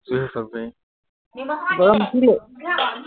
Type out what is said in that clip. গৰম উঠিলেই